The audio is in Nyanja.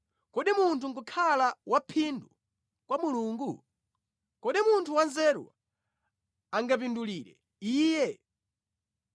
“Kodi munthu nʼkukhala waphindu kwa Mulungu? Kodi munthu wanzeru angamupindulire Iye?